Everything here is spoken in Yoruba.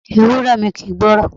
Ewúré mi kì ń gbọ́ràn.